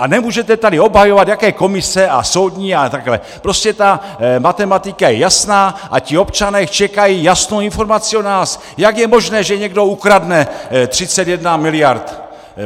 A nemůžete tady obhajovat, jaké komise a soudní a takhle, prostě ta matematika je jasná a ti občané čekají jasnou informaci od nás, jak je možné, že někdo ukradne 31 miliard!